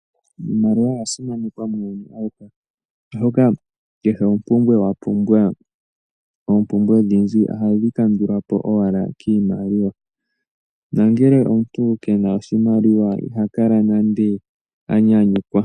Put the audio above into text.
Iimaliwa oya simanekwa muuyuni auhe. Oshoka kehe ompumbwe wa pumbwa, oompumbwe adhihe ohadhi kandulwa po owala koshimaliwa, na ngele omuntu ke na oshimaliwa iha kala nande a nyanyukwa.